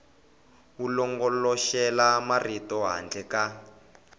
wu longoloxela marito handle ka